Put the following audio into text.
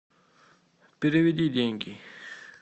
переведи деньги